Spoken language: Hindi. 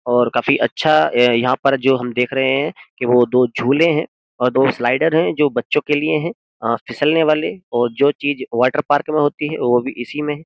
और काफी अच्छा यह यहाँ पर हम जो देख रहे है के वो दो झूले है और दो स्लाइडर है जो बच्चों के लिए है फिसलने वाले और जो चीज वाटर पार्क में होती है वो भी इसी में है।